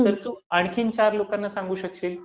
तर तू आणखी चार लोकांना सांगू शकशील